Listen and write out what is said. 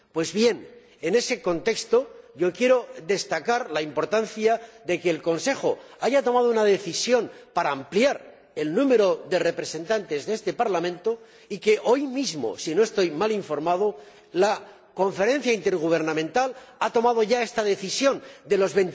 Pues bien, en ese contexto, yo quiero destacar la importancia de que el Consejo haya tomado una decisión para ampliar el número de representantes de este Parlamento y que hoy mismo, si no estoy mal informado, la Conferencia Intergubernamental ha tomado ya esta decisión de los